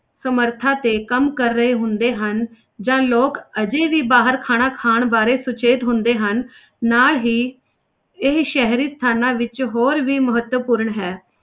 ਸਮਰਥਾ ਤੇ ਕੰਮ ਕਰ ਰਹੇ ਹੁੰਦੇ ਹਨ ਜਾਂ ਲੋਕ ਹਜੇ ਵੀ ਬਾਹਰ ਖਾਣਾ ਖਾਣ ਬਾਰੇ ਸੁਚੇਤ ਹੁੰਦੇ ਹਨ ਨਾਲ ਹੀ ਇਹ ਸ਼ਹਿਰੀ ਸਥਾਨਾਂ ਵਿੱਚ ਹੋਰ ਵੀ ਮਹੱਤਵਪੂਰਨ ਹੈ।